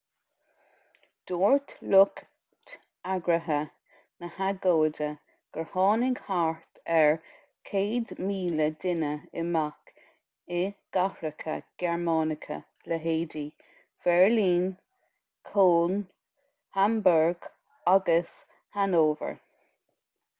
dúirt lucht eagraithe na hagóide gur tháinig thart ar 100,000 duine amach i gcathracha gearmánacha leithéidí bheirlín köln hamburg agus hanover